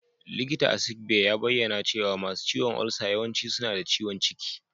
Likita a Sick Bay ya bayyana cewa masu ciwon ulcer yawanci suna da ciwon ciki.